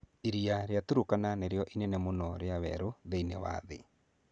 Iria rĩa Turkana nĩrĩo iria inene mũno rĩa werũ thĩinĩ wa thĩ.